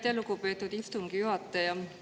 Aitäh, lugupeetud istungi juhataja!